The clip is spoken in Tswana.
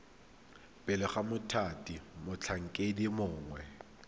pele ga mothati motlhankedi mongwe